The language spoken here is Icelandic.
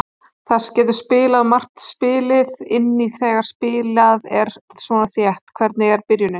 Það getur margt spilað inn í þegar spilað er svona þétt: Hvernig er byrjunin?